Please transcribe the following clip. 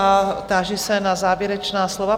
A táži se na závěrečná slova.